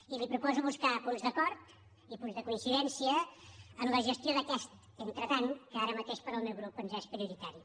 i li proposo buscar punts d’acord i punts de coincidència en la gestió d’aquest entretant que ara mateix per al meu grup ens és prioritari